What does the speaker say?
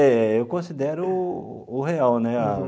É, eu considero o real, né?